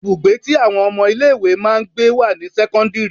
Ibùgbé tí àwọn ọmọ ilé ìwé máa ń gbé wà ní sẹ́kọ́ńdírì.